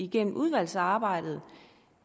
gennem udvalgsarbejdet